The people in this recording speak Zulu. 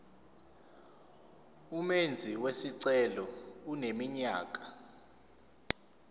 umenzi wesicelo eneminyaka